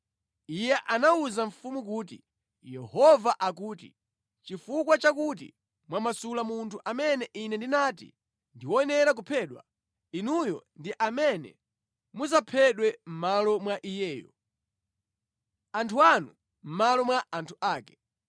Iye anawuza mfumu kuti, “Yehova akuti, ‘Chifukwa chakuti mwamasula munthu amene Ine ndinati ndi woyenera kuphedwa, inuyo ndi amene mudzaphedwe mʼmalo mwa iyeyo, anthu anu mʼmalo mwa anthu ake.’ ”